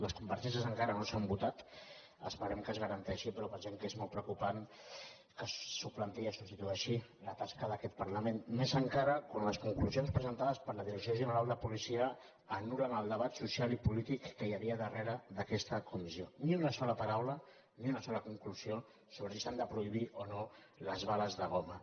les compareixences encara no s’han votat esperem que es garanteixi però pensem que és molt preocupant que es suplanti i es substitueixi la tasca d’aquest parlament i més encara quan les conclusions presentades per la direcció general de policia anulbat social i polític que hi havia a darrera d’aquesta comissió ni una sola paraula ni una sola conclusió sobre si s’han de prohibir o no les bales de goma